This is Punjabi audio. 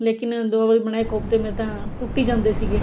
ਲੇਕਿਨ ਦੋ ਵਾਰੀ ਬਨਾਏ ਕੋਫਤੇ ਮੇਰੇ ਤਾਂ ਟੁੱਟੀ ਜਾਂਦੇ ਸੀਗੇ